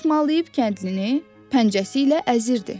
Xışmalayıb kəndlini pəncəsi ilə əzirdi.